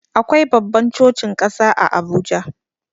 Akwai babban cocin ƙasa a Abuja.